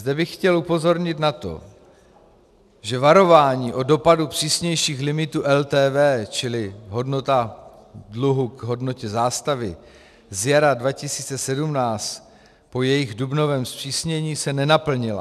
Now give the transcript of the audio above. Zde bych chtěl upozornit na to, že varování o dopadu přísnějších limitů LTV, čili hodnota dluhu k hodnotě zástavy, z jara 2017 po jejich dubnovém zpřísnění se nenaplnila.